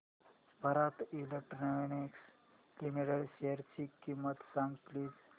Bharat electronics limited शेअरची किंमत सांगा प्लीज